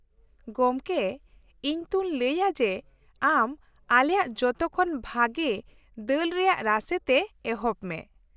ᱜᱚᱝᱠᱮ, ᱤᱧ ᱛᱩᱧ ᱞᱟᱹᱭᱟ ᱡᱮ ᱟᱢ ᱟᱞᱮᱭᱟᱜ ᱡᱚᱛᱚᱠᱷᱚᱱ ᱵᱷᱟᱹᱜᱤ ᱫᱟᱹᱞ ᱨᱮᱭᱟᱜ ᱨᱟᱥᱮ ᱛᱮ ᱮᱦᱚᱵ ᱢᱮ ᱾